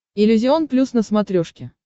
иллюзион плюс на смотрешке